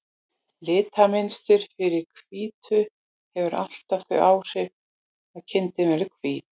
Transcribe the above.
Litamynstur fyrir hvítu hefur alltaf þau áhrif að kindin verður hvít.